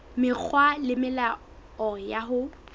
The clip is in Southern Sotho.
mekgwa le melao ya ho